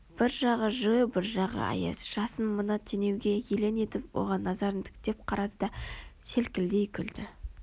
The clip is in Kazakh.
бір жағы жылы бір жағы аяз жасын мына теңеуге елең етіп оған назарын тіктеп қарады да селкілдей күлді